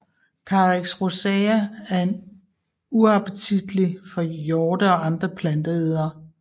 Carex rosea er uappetitlig for hjorte og andre planteædere